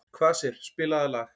Kvasir, spilaðu lag.